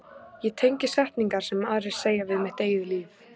Ég tengi setningar sem aðrir segja við mitt eigið líf.